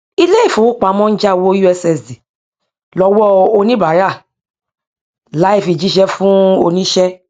ilé ìfowópamọ ń já owó ussd lọwọ oníbàárà láì fi jíṣẹ fún oníṣẹ